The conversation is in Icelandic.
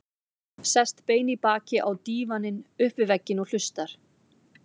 Sest bein í baki á dívaninn upp við vegginn og hlustar.